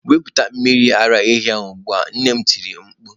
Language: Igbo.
Wepụta mmiri ara ehi ugbu a! nne m tiri mkpu.